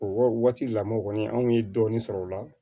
O waati lamɔɔ kɔni anw ye dɔɔnin sɔrɔ o la